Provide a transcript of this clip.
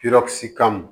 kan